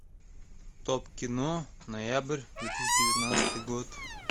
топ кино ноябрь две тысячи девятнадцатый год